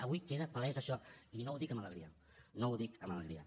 avui queda palès això i no ho dic amb alegria no ho dic amb alegria